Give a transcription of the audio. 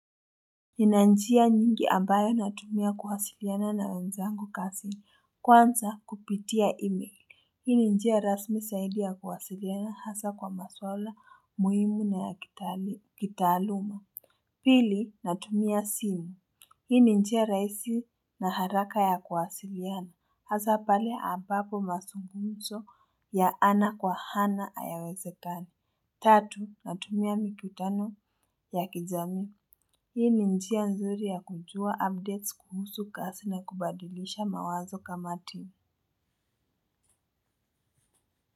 Nina njia nyingi ambayo natumia kuwasiliana na wenzangu kazi kwanza kupitia email hii ni njia rasmi zaidi ya kuwasiliana hasa kwa maswala muhimu na ya kitaaluma. Pili natumia simu hii ni njia rahisi na haraka ya kuwasiliana hasa pale ambapo mazungumzo ya ana kwa ana hayawezekani. Tatu natumia mikutano ya kijamii. Hii ni njia nzuri ya kujua updates kuhusu kasi na kubadilisha mawazo kamati.